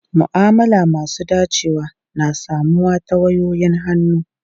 Ma'amala masu dacewa na samuwa ta wayoyin hannu.